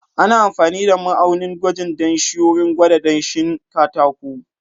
Ana amfani da ma'aunin gwajin danshi wurin gwada danshin katako.